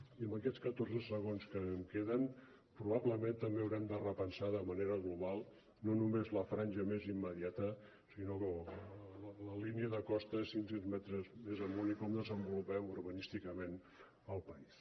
i amb aquests catorze segons que em queden probablement també haurem de repensar de manera global no només la franja més immediata sinó la línia de costa cinc cents metres més amunt i com desenvolupem urbanísticament el país